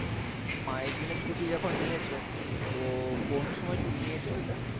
পাঁচ দিনের ছুটি যখন নিয়েছ তো কোন সময় ছুটি নিয়েছো এটা।